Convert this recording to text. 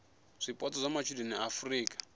zwipotso zwa matshudeni a afurika